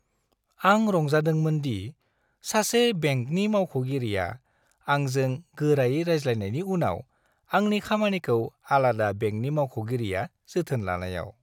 आं रंजादोंमोनदि सासे बेंकनि मावख'गिरिया आंजों गोरायै रायज्लायनायनि उनाव आंनि खामानिखौ आलादा बेंकनि मावख'गिरिया जोथोन लानायाव।